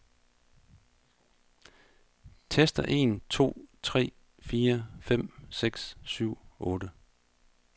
Tester en to tre fire fem seks syv otte.